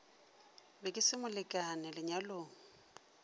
be ke se molekane lenyalong